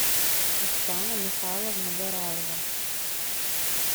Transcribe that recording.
оксана михайловна гораева